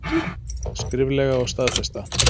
Skriflega og staðfesta.